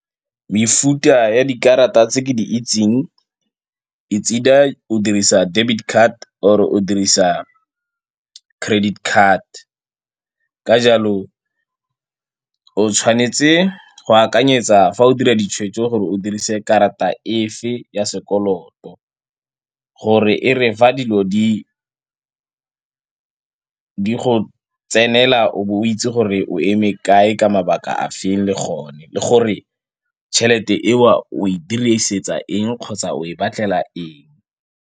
Mefuta ya dikarata tse ke di itseng it's either o dirisa debit card or-e o dirisa credit card. Ka jalo o tshwanetse go akanyetsa fa o dira ditshwetso gore o dirise karata e fe ya sekoloto, gore e re fa dilo di go tsenela o be o itse gore o eme kae ka mabaka a feng le gone, le gore tšhelete eo o e dirisetsa eng kgotsa o e batlela eng.